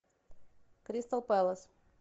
кристал пэлас